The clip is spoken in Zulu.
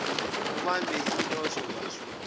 ubambe ilotto bathong